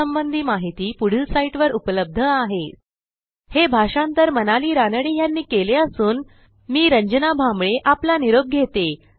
यासंबंधी माहिती पुढील साईटवर उपलब्ध आहेspoken tutorialorgNMEICT Intro हे भाषांतर मनाली रानडे यांनी केले असून मी रंजना भांबळे आपला निरोप घेते